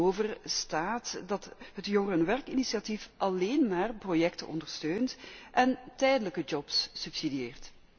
Hiertegenover staat dat het Jongerenwerk initiatief alleen maar projecten ondersteunt en tijdelijke jobs subsidieert.